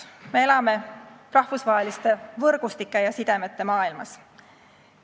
Me elame rahvusvaheliste võrgustike ja sidemete maailmas.